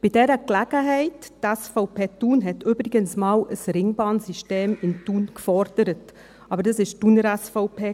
Bei dieser Gelegenheit: Die SVP Thun hat übrigens einmal ein Ringbahnsystem in Thun gefordert – aber das war die Thuner SVP.